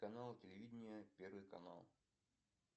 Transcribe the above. канал телевидения первый канал